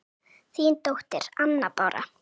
Þín dóttir, Anna Bára.